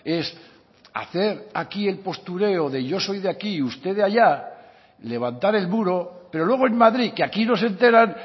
es hacer aquí el postureo de yo soy de aquí y usted de allá levantar el muro pero luego en madrid que aquí no se enteran